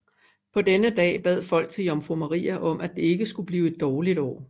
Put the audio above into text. På denne dagen bad folk til jomfru Maria om at det ikke skulle blive et dårligt år